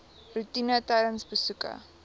roetine tydens besoeke